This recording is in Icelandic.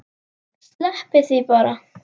Sleppið því bara.